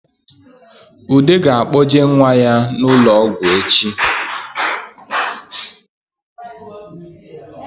Ude ga-akpọje nwa ya n’ụlọọgwụ echi